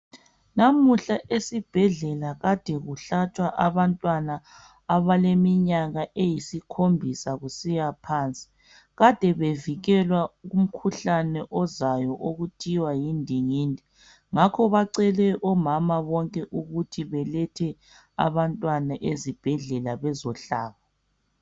Namuhla esibhedlela kade kuhlatshwa abantwana abaleminyaka eyisikhombisa kusiya phansi kade bevikelwa umkhuhlane ozayo okuthiwa yindingindi ngakho bacele omama bonke ukuthi balethe abantwana ezibhedlela bazohlaba